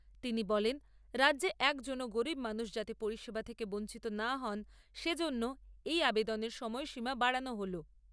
তিনি বলেন, রাজ্যে একজনও গরীব মানুষ যাতে পরিষেবা থেকে বঞ্চিত না হন, সেজন্য এই আবেদনের সময়সীমা বাড়ানো হল।